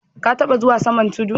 Ka tabba zuwa saman tudu?